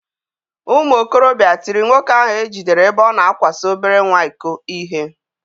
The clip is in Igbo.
Ụmụ okorobịa tiri nwoke ahụ e jidere ebe ọ na akwaso obere nwa iko ihe.